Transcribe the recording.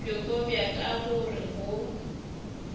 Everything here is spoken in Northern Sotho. bjoko bja ka gore bo